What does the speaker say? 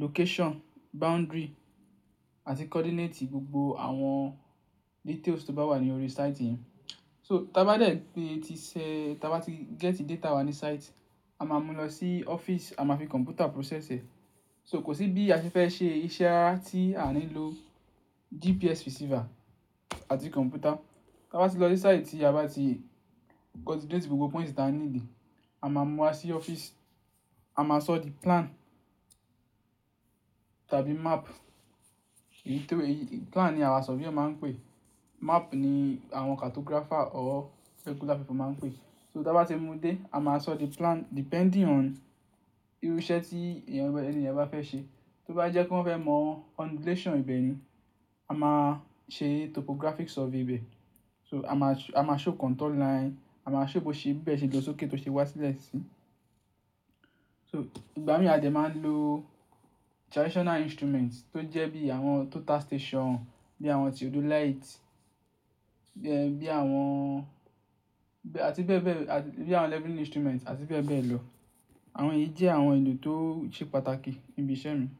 location, boundary àti coordinate gbogbo àwọn details tó bá wà ní orí site yẹn. So, táa bá dẹ̀ pe ẹ ti ṣẹ, ta bá ti gẹ́tì data wà ní site, a máa mú lọ sí ọ́fíìsì, a máa fi kọ̀ǹpútà process ẹ̀. So kò sí bí a fi fẹ́ ṣe iṣẹ́ rara tí a ní lọ GPS receiver àti kọ̀ǹpútà. Táa bá ti lọ sí site tí a bá ti coordinate gbogbo points tí a ní dì, a máa mú wa sí ọ́fíìsì, a máa sọ di plan tàbí map. Èyí tó yi, plan ni àwa surveyor máa ń pè é, map ni àwọn cartographer or regular people máa ń pè é. So táa bá ti mú dé, a máa sọ the plan depending on irú iṣẹ́ tí ẹ̀yàn, ẹni ẹniyàn bá fẹ́ ṣe. Tó bá jẹ́ kí wọ́n fẹ́ mọ undulation ibẹ̀ ní, a máa ṣe topographic survey ibẹ̀. So a máa, a máa show contour line, a máa show bó ṣe bi ibe se ló ṣókè tó ṣe wà sílẹ̀ sí. So ìgbà mìí a dẹ́ máa ń lo traditional instruments tó jẹ́ bí àwọn total station, bí àwọn theodolite, bí ẹ́, bí àwọn, bí, àti bẹ́ẹ̀ bẹ́ẹ̀, à, bí àwọn levelling instrument àti bẹ́ẹ̀ bẹ́ẹ̀ lọ. Àwọn èyí jẹ́ àwọn ohun èlò tó ṣe pàtàkì níbi iṣẹ́ mi.